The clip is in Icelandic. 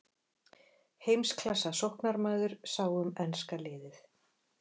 Heimsklassa sóknarmaður sá um enska liðið.